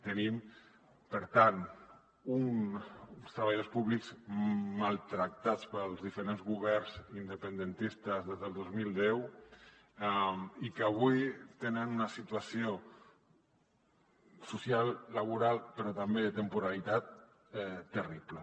tenim per tant uns treballadors públics maltractats pels diferents governs independentistes des del dos mil deu i que avui tenen una situació social laboral però també de temporalitat terrible